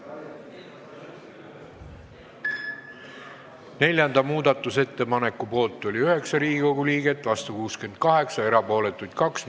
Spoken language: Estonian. Hääletustulemused Neljanda muudatusettepaneku poolt oli 9 ja vastu 68 Riigikogu liiget, erapooletuid oli 2.